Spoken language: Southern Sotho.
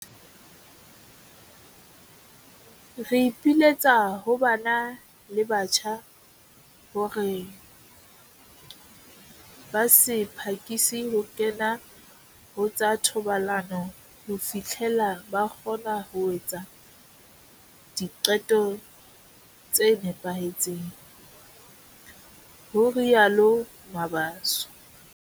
"Re ipiletsa ho bana le batjha hore ba se phakise ho kena ho tsa thobalano ho fihlela ba kgona ho etsa diqeto tse nepahetseng," ho rialo Mabaso.